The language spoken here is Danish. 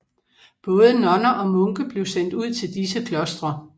Både nonner og munke blev sendt ud til disse klostre